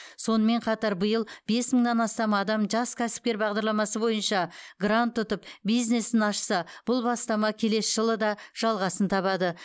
сонымен қатар биыл бес мыңнан астам адам жас кәсіпкер бағдарламасы бойынша грант ұтып бизнесін ашса бұл бастама келесі жылы да жалғасын табады